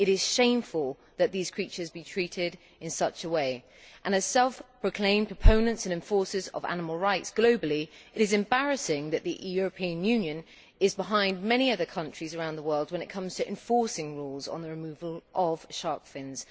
It is shameful that these creatures are treated in such a way and as self proclaimed proponents and enforcers of animal rights globally it is embarrassing that the European Union is behind many other countries around the world when it comes to enforcing rules on the removal of shark fins.